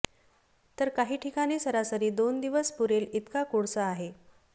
तर काही ठिकाणी सरासरी दोन दिवस पुरेल इतका कोळसा आहे